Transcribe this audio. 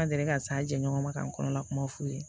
An deli ka s'an jɛ ɲɔgɔn ma k'an kɔnɔna kuma f'u ye